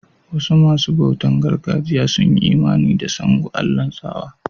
Wasu masun bautan gargajiya sun yi Imani a Sango, Allah'n tsawa.